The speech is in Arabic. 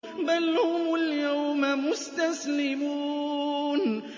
بَلْ هُمُ الْيَوْمَ مُسْتَسْلِمُونَ